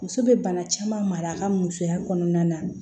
Muso bɛ bana caman mara mara ka musoya kɔnɔna na